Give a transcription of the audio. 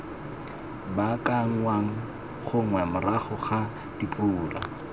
baakanngwang gongwe morago ga dipula